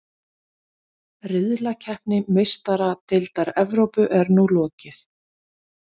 Riðlakeppni Meistaradeildar Evrópu er nú lokið.